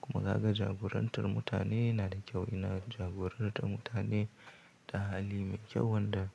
Kuma kaga jagorantar mutane na da kyau, ina jagorantar mutane da hali mai kyau wanda.